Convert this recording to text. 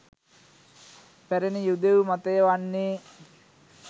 පැරැණි යුදෙව් මතය වන්නේ